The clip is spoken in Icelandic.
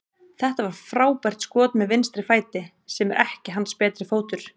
Þetta var frábært skot með vinstri fæti, sem er ekki hans betri fótur.